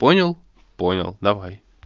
понял понял давай